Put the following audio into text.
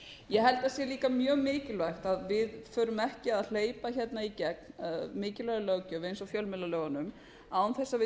ég held að að sé mjög mikilvægt að við förum ekki að hleypa í gegn mjög mikilvægri löggjöf eins og fjölmiðlalögunum án þess að við